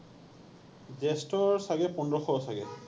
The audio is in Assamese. Zest ৰ চাগে পোন্ধৰশ চাগে।